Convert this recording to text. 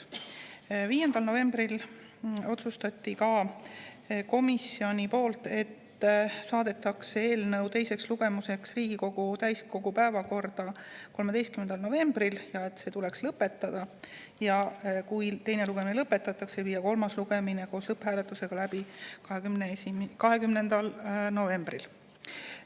Komisjoni 5. novembri istungil otsustati järgmist: saata eelnõu teisele lugemisele Riigikogu täiskogu 13. novembri päevakorda, teine lugemine lõpetada ja kui see lõpetatakse, teha kolmas lugemine koos lõpphääletusega 20. novembril.